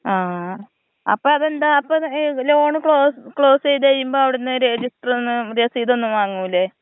ആ അപ്പതെന്താ അപ്പൊ ലോൺ ക്ലോസ് ചെയ്ത് കഴിയുമ്പോ അവിടുന്ന് രെജിസ്റ്ററൊന്നും രെസീതൊന്നും വാങ്ങില്ലെ?